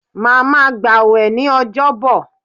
Má ma gbà wẹ̀ ní ọjọ́ bọ̀!